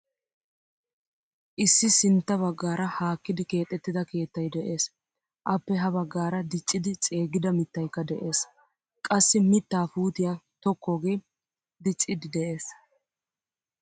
Issi sinttaa baggaara haakkidi keexettida keettay de'ees. Appe ha baggaara diccidi ceeggida maataaykka de'ees. Qassi mitta puutiyaa tokkooge diccidi de'ees.